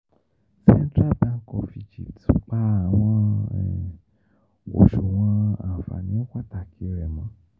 Central Bank of Egypt pa awọn oṣuwọn anfani pataki rẹ mọ